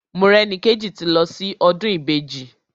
Morẹ́nikéjì ti lọ sí ọdún Ìbejì.